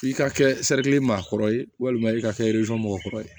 I ka kɛ sari maa kɔrɔ ye walima i ka kɛ mɔgɔkɔrɔ ye